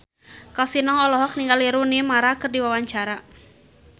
Kasino olohok ningali Rooney Mara keur diwawancara